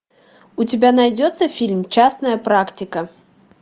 у тебя найдется фильм частная практика